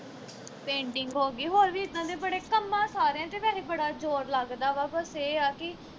painting ਹੋ ਗਈ ਹੋਰ ਵੀ ਇੱਦਾਂ ਦੇ ਬੜੇ ਕੰਮਾਂ ਸਾਰਿਆ ਵਿਚ ਵੈਹੇ ਬੜਾ ਜੋਰ ਲੱਗਦਾ ਵਾ ਬਸ ਇਹ ਆ ਕਿ